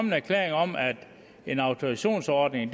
en erklæring om at en autorisationsordning en